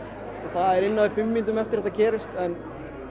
það var innan við fimm mínútum eftir að þetta gerðist en